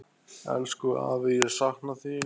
Elsku afi, ég sakna þín.